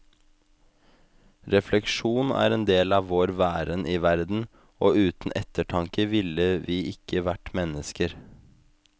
Refleksjon er en del av vår væren i verden, og uten ettertanke ville vi ikke vært mennesker.